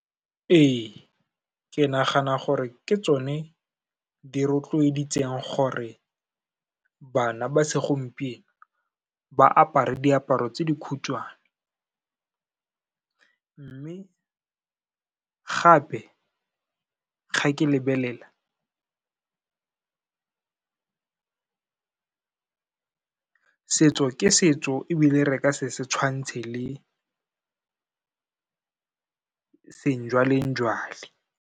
Ee, ke nagana gore ke tsone di rotloeditseng gore bana ba segompieno ba apare diaparo tse di khutshwane, mme gape ga ke lebelela, setso ke setso ebile re ka se setshwantse le sejwalejwale.